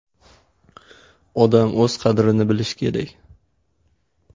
Odam o‘z qadrini bilishi kerak.